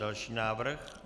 Další návrh.